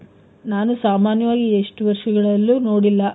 ನಾನು ಸಾಮಾನ್ಯವಾಗಿ ಎಷ್ಟು ವರ್ಷಗಳಲ್ಲೂ ನೋಡಿಲ್ಲ.